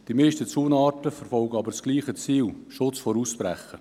Die meisten Zaunarten verfolgen jedoch dasselbe Ziel: den Schutz vor dem Ausbrechen.